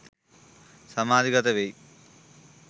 සමාධිගත වෙයි.